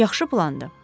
Yaxşı plandır.